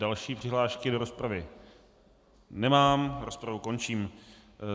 Další přihlášky do rozpravy nemám, rozpravu končím.